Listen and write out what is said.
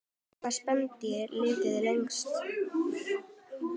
Hvaða spendýr lifir lengst?